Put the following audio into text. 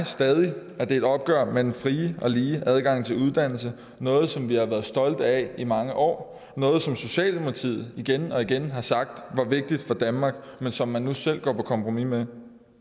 stadig at det er et opgør med den frie og lige adgang til uddannelse noget som vi har været stolte af i mange år noget som socialdemokratiet igen og igen har sagt er vigtigt for danmark men som man nu selv går på kompromis med